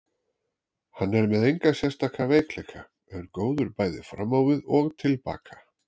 Hann er með enga sérstaka veikleika, er góður bæði fram á við og til baka.